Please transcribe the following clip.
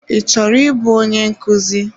I chọrọ ịbụ onye nkuzi?